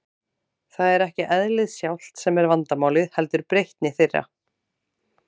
Það er ekki eðlið sjálft sem er vandamálið, heldur breytni þeirra.